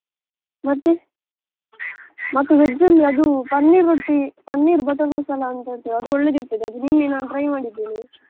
ಮತ್ತೆ, ಮತ್ತೆ veg ಅಲ್ಲಿ ಅದು paneer roti, paneer butter masala ಅಂತದ್ದು ಅದು ಒಳ್ಳೆದಿರ್ತದೆ, ಅದು ನಿನ್ನೆ ನಾನು try ಮಾಡಿದ್ದೇನೆ.